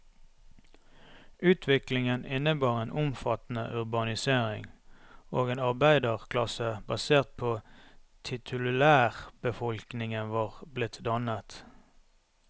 Utviklingen innebar en omfattende urbanisering, og en arbeiderklasse basert på titulærbefolkningen var blitt dannet.